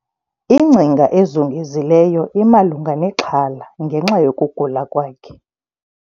Ingcinga ezungezileyo imalunga nexhala ngenxa yokugula kwakhe